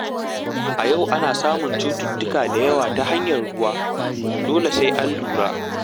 A yau ana samun cututtuka da yawa ta hanyar ruwa, dole sai an lura.